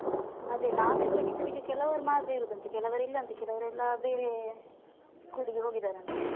ಅದೇ ನಾವ್ ಇರುವಾಗ teachers ಗೆ ಕೆಲವರು ಮಾತ್ರ ಇರುದಂತೆ ಕೆಲವರು ಇಲ್ಲಅಂತೇ ಕೆಲವ್ರೆಲ್ಲ ಬೇರೆ school ಗೆ ಹೋಗಿದ್ದಾರಂತೆ.